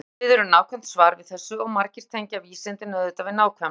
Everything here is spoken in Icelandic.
Spyrjandi biður um nákvæmt svar við þessu og margir tengja vísindin auðvitað við nákvæmni.